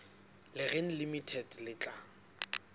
le reng limited le tla